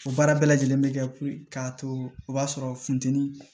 O baara bɛɛ lajɛlen bɛ kɛ puruke k'a to o b'a sɔrɔ funteni